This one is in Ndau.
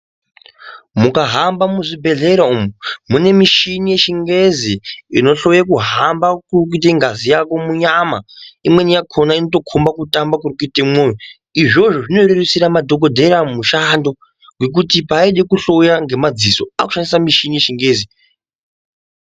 Mukahamba muzvibhedhlera umwu munemichini yechingezi inohloye kuhamba kuri kuite ngazi yako munyama imweni yakona inotokomba kutamba kurikuite mwoyo izvozvo zvinorerutsira madhokodheya mushando nekuti paide kuhloya ngemadziso akushandisa muchini yechingezi.